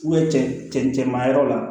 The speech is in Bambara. cɛn cɛncɛn maa yɔrɔ la